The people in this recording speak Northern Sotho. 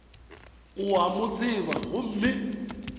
o a mo tseba gomme